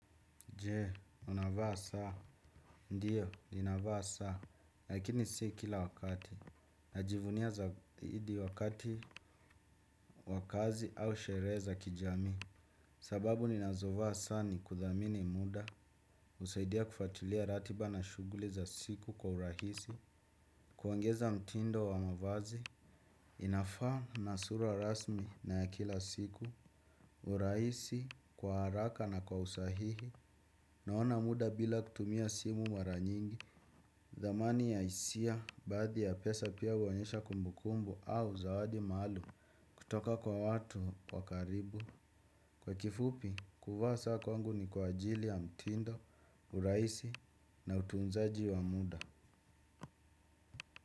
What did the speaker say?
Jee, unavaa saa. Ndiyo, ninavaa saa. Lakini si kila wakati. Najivunia zaidi wakati wakazi au sherehe za kijamii. Sababu ninazovaa saa ni kudhamini muda. Usaidia kufuatulia ratiba na shughuli za siku kwa urahisi. Kuongeza mtindo wa mavazi. Inafaa na sura rasmi na ya kila siku. Urahisi kwa haraka na kwa usahihi. Naona muda bila kutumia simu mara nyingi thamani ya hisia, baadhi ya pesa pia uonyesha kumbukumbu au zawadi maluum kutoka kwa watu wakaribu. Kwa kifupi, kuvaa saa kwangu ni kwa ajili ya mtindo, urahisi na utunzaji wa muda.